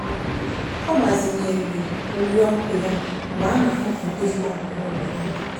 ọ gbazinyere uri ọkụ ya mgbe a na-akpọpụ ndị mmadụ n'ụlọ n'abalị.